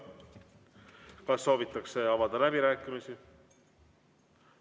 Kas soovitakse avada läbirääkimisi?